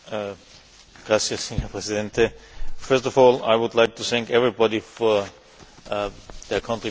Mr President, first of all, I would like to thank everybody for their contributions.